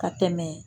Ka tɛmɛ